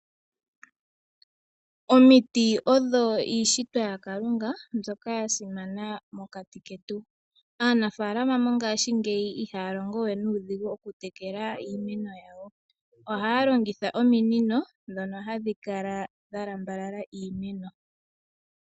Omiti odho iishitwa yaKalunga mbyoka ya simana mokati ketu. Aanafaalama mongashingeyi ihaya longo we nuudhigu mokutekela iimeno yawo. Ohaya longitha ominino ndhono hadhi kala dha lambalala iimeno.